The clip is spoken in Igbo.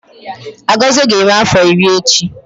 Agozie ga-eme afọ iri echi